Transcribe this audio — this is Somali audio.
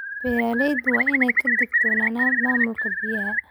Beeralayda waa in ay ka digtoonaadaan maamulka biyaha.